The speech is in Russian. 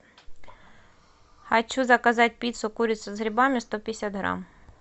хочу заказать пиццу курица с грибами сто пятьдесят грамм